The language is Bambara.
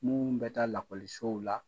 Mun bɛ taa lakɔlisow la.